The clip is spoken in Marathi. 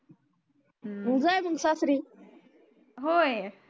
होय